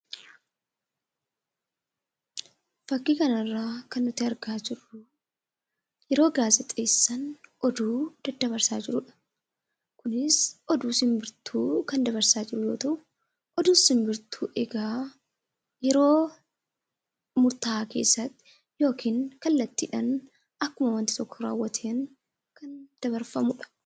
Fakkii kanarraa kan nuti argaa jirru yeroo gaazixeessaan oduu daddabarsaa jiru dha. Kunis oduu simbirtuu kan dabarsaa jiru yoo ta'u, oduun simbirtuu egaa yeroo murtaa'aa keessatti yookiin kallattiidhaan akkuma wanti tokko raawwateen dabarfamu dha.